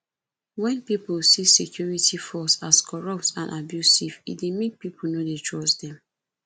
when pipo see security force as corrupt and abusive e dey make pipo no dey trust them